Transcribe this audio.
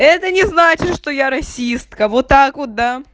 это не значит что я расистка вот так вот да